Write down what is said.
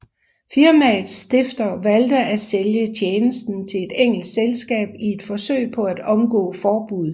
Firmaets stifter valgte at sælge tjenesten til et engelsk selskab i et forsøg på at omgå forbuddet